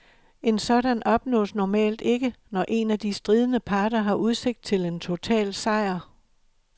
En sådan opnås normalt ikke, når en af de stridende parter har udsigt til en total sejr.